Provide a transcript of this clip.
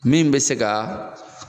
Min bɛ se ka